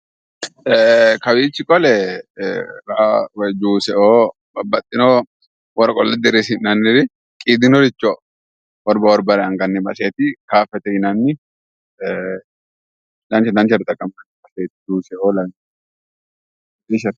Kawich qole ra juuso babaxino woro qole dirisinanir qiidhinoricho worba worbare angani baseet kaafete yinan dancha danchare xaqaminnani basset